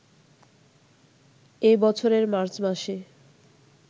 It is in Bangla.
এ বছরের মার্চ মাসে